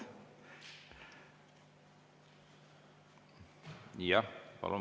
Palun!